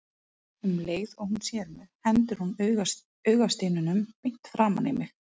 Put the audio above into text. Um leið og hún sér mig hendir hún augasteinunum beint framan í mig.